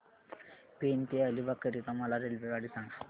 पेण ते अलिबाग करीता मला रेल्वेगाडी सांगा